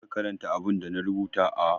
Je ka karanta abinda na rubuta a